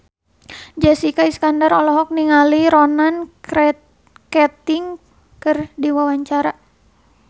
Jessica Iskandar olohok ningali Ronan Keating keur diwawancara